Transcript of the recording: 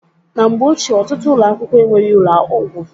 Na mgbe ochie, ọtụtụ ụlọakwụkwọ enweghị ụlọgwụ.